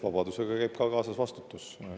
Vabadusega käib kaasas ka vastutus.